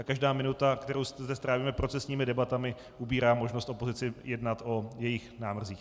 A každá minuta, kterou zde strávíme procesními debatami, ubírá možnost opozici jednat o jejích návrzích.